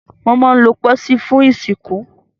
Wọ́n máa ń lo pósí fún ìsìnkú.